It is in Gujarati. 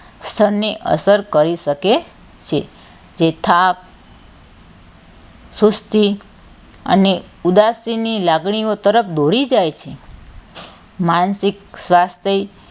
ક્ષણ ને અસર કરી શકે છે. તે થાક સુશ્તી અને ઉદાસીની લાગણીઓ તરફ દોરી જાય છે માનસિક સ્વાસ્થ્ય,